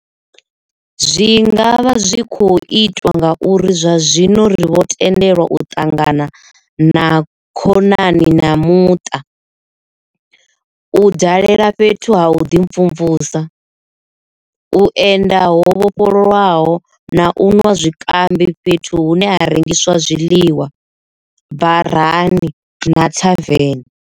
Zwi nga vha zwi khou itwa ngauri zwa zwino ri vho tendelwa u ṱangana na kho nani na muṱa, u dalela fhethu ha vhuḓimvumvusi, u enda ho vhofholowaho na u nwa zwikambi fhethu hune ha rengiswa zwiḽiwa, barani na thaveni.